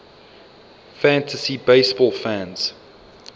fantasy baseball fans